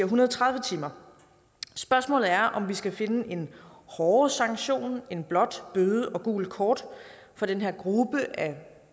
hundrede og tredive timer spørgsmålet er om vi skal finde en hårdere sanktion end blot bøde og gult kort for den her gruppe af